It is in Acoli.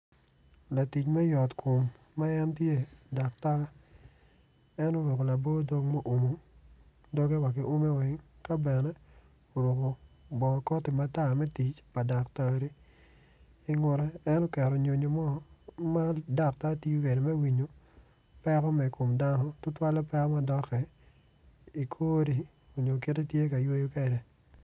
Latic me yotkom ma en tye daktar en oruku labo dog mu umu dogge wa ki ume weny ka bene bongo koti matar me tic pa daktar ingutte en oketo nyonyo mo ma daktar tiyo kede me winyo peko me kom dano tutwale peko ma dok i kori nyo kiti i tye ka yweyo kede